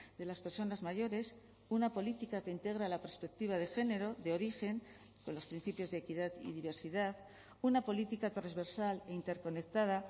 de las personas mayores una política que integra la perspectiva de género de origen con los principios de equidad y diversidad una política transversal e interconectada